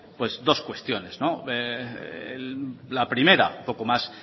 pues dos cuestiones la primera un poco más